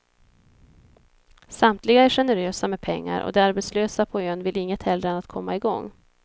Samtliga är generösa med pengar och de arbetslösa på ön vill inget hellre än komma igång.